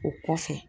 O kɔfɛ